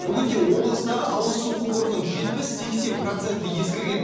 бүгінде облыстағы ауызсу құбырының жетпіс сексен проценті ескірген